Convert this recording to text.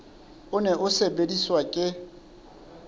o ne o sebediswa ke